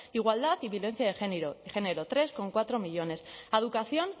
igualdad y violencia de género tres coma cuatro millónes a educación